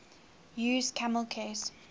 used camel case